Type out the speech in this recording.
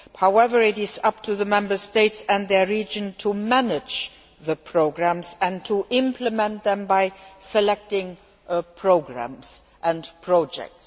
However, it is up to the Member States and their regions to manage the programmes and to implement them by selecting programmes and projects.